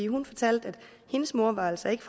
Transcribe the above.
hun fortalte at hendes mor altså ikke